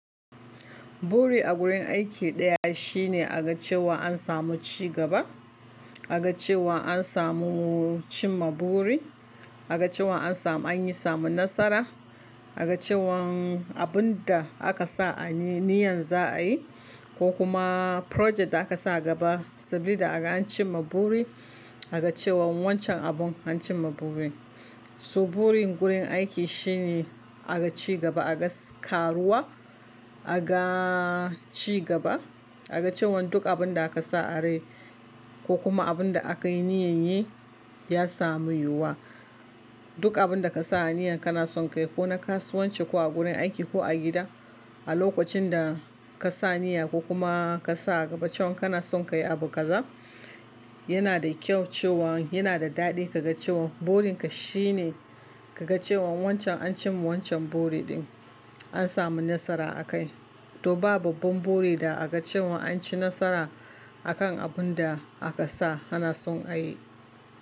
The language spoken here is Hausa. Buri a gurin aiki daya shine a ga cewa an samu cigaba, a ga cewa an samu cin ma buri, a ga cewa an samu, an yi samu nasara, a ga cewan abun da aka sa a yi niyyan za a yi ko kuma project da aka sa a gaba saboda an cimma buri, a ga cewa wancan abun an cimma burin. So burin gurin aiki shine a ga cigaba, a ga karuwa, a ga cigaba, a ga cewan duk abun da aka sa arai ko kuma abun da aka yi niyyan yi ya samu yiwuwa. Duk abun da ka sa a niyyan kana son ka yi ko na kasuwanci ko a gurin aiki ko a gida, a lokacin da ka sa niyya ko kuma ka sa a gaba cewan kana son ka yi abu ƙaza, yana da kyau cewan yana da daɗi ka ga cewan burinka shine ka ga cewan wancan an cimma wancan buri ɗin, an samu nasara a kai. To ba babban buri da aka cewa an ci nasara a kan abun da aka sa kana son a yi.